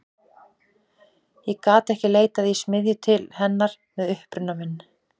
Ég gat ekki leitað í smiðju til hennar með uppruna minn.